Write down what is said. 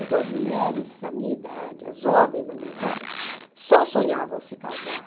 Então as mulheres da minha idade, as jovens da minha idade, só sonhavam se casar.